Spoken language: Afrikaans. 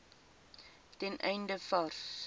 ten einde vars